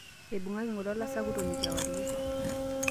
Eibung'aki ng'ole olasakutoni kewarie.